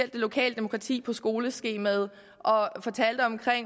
det lokale demokrati på skoleskemaet og fortalte om